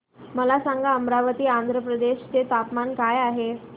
मला सांगा अमरावती आंध्र प्रदेश चे तापमान काय आहे